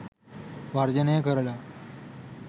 වර්ජනය කරලා